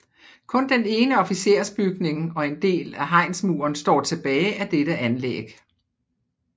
Kun den ene officersbygning og en del af hegnsmuren står tilbage af dette anlæg